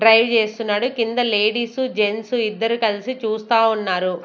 Drive చేస్తున్నాడు. కింద ladies gents ఇద్దరు కలిసి చూస్తా ఉన్నారు.